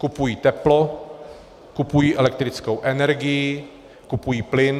Kupují teplo, kupují elektrickou energii, kupují plyn